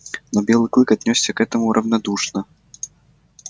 но белый клык отнёсся к этому равнодушно